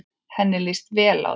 Henni líst vel á þig.